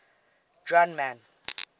drunman